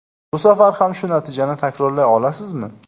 Bu safar ham shu natijani takrorlay olasizmi?